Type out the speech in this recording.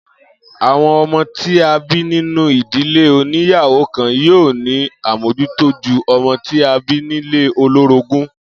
Àwo̩n o̩mó tí a bí nínú ìdílé oníyàwó-kan yóò ní àmójútó ju o̩mo̩ tí a bí nílé olórógún